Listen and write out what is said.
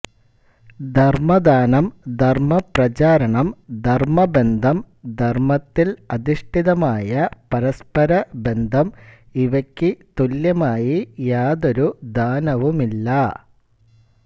ധർമദാനം ധർമപ്രചാരണം ധർമബന്ധം ധർമത്തിൽ അധിഷ്ഠിതമായ പരസ്പരബന്ധം ഇവയ്ക്കു തുല്യമായി യാതൊരു ദാനവുമില്ല